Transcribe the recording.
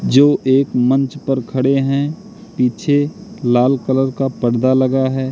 जो एक मंच पर खड़े हैं पीछे लाल कलर का पर्दा लगा है।